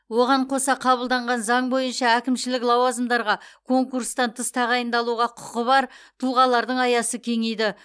оған қоса қабылданған заң бойынша әкімшілік лауазымдарға конкурстан тыс тағайындалуға құқығы бар тұлғалардың аясы кеңейді